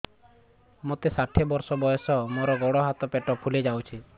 ମୋତେ ଷାଠିଏ ବର୍ଷ ବୟସ ମୋର ଗୋଡୋ ହାତ ପେଟ ଫୁଲି ଯାଉଛି